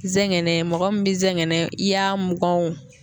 Zɛngɛnɛ mɔgɔ min be ngɛgɛnɛ, i y'a mugan